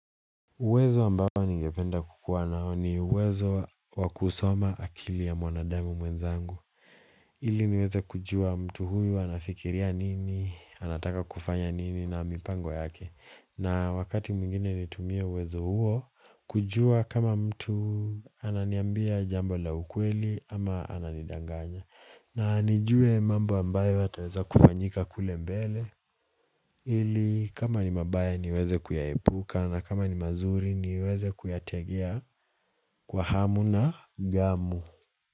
Uwezo ambao ningependa kukuwa nao ni uwezo wa kusoma akili ya mwanadamu mwenzangu ili niweze kujua mtu huyu anafikiria nini, anataka kufanya nini na mipango yake na wakati mwingine nitumie uwezo huo kujua kama mtu ananiambia jambo la ukweli ama ananidanganya na nijue mambo ambayo yataweza kufanyika kule mbele ili kama ni mabaya niweze kuyaepuka na kama ni mazuri niweze kuyategea kwa hamu na gamu.